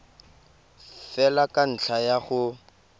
fela ka ntlha ya go